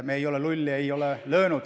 Me ei ole lulli löönud.